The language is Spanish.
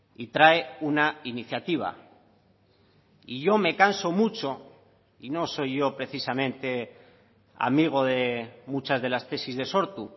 y trae una iniciativa y yo me canso mucho y no soy precisamente amigo de muchas de las tesis de sortu